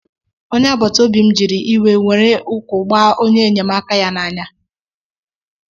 Onye agbata Obi m jiri íwe nwèrè ụkwụ̀ gbá ónyé enyemaka ya n'anya